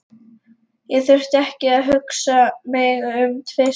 Ég þurfti ekki að hugsa mig um tvisvar.